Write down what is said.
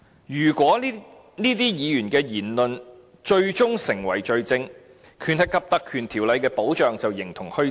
如果議員的言論最終成為罪證，則《立法會條例》的保障便形同虛設。